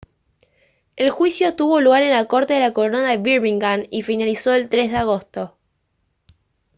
el juicio tuvo lugar en la corte de la corona de birmingham y finalizó el 3 de agosto